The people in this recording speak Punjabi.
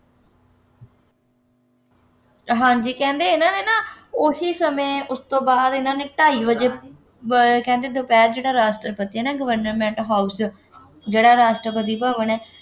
ਹਾਂਜੀ ਕਹਿੰਦੇ ਹੈ ਨਾ ਹੈ ਨਾ, ਉਸੀ ਸਮੇਂ ਉਸ ਤੋਂ ਬਾਅਦ ਇਹਨਾ ਨੇ ਢਾਈ ਵਜੇ ਅਹ ਕਹਿੰਦੇ ਦੁਪਹਿਰ ਜਿਹੜਾ ਰਾਸ਼ਟਰਪਤੀ ਹੈ Government House 'ਚ ਜਿਹੜਾ ਰਾਸ਼ਟਰਪਤੀ ਭਵਨ